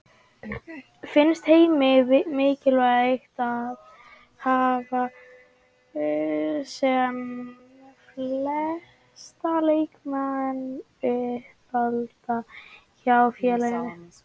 Finnst Heimi mikilvægt að hafa sem flesta leikmenn uppalda hjá félaginu?